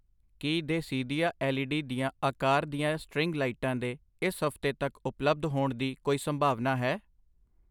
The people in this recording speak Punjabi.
ਕੀ ਦੇਸੀਦਿਆ ਐੱਲ ਈ ਡੀ ਦੀਆ ਆਕਾਰ ਦੀਆਂ ਸਟ੍ਰਿੰਗ ਲਾਈਟਾਂ ਦੇ ਇਸ ਹਫ਼ਤੇ ਤੱਕ ਉਪਲੱਬਧ ਹੋਣ ਦੀ ਕੋਈ ਸੰਭਾਵਨਾ ਹੈ?